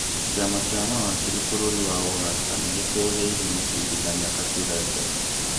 Kĩama kĩa mawakiri bũrũri wa Ũganda nĩgĩtũgĩirie mũcirithania Katureebe